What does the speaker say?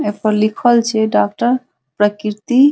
ए पर लिखल छै डॉक्टर प्रकृति --